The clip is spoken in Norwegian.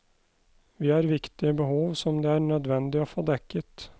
Vi har viktige behov som det er nødvendig å få dekket.